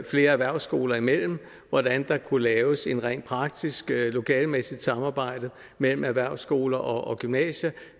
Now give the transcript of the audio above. flere erhvervsskoler imellem hvordan der kunne laves et rent praktisk lokalemæssigt samarbejde mellem erhvervsskoler og gymnasier